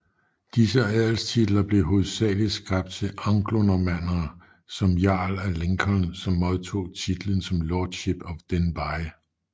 Disse adelstitler blev hovedsageligt skabt til anglonormannere som jarl af Lincoln som modtog titlen som lordship of Denbigh